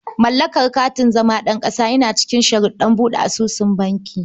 Mallakar katin zama ɗan ƙasa yana cikin sharuɗan buɗe asusun banki.